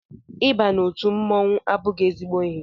Ị ba n'otu mmọnwụ abụghị ezigbo ihe